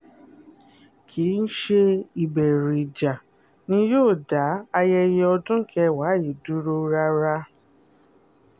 kì í ṣe ìbẹ̀rù ìjà ni yóò dá ayẹyẹ ọdún kẹwàá yìí dúró rárá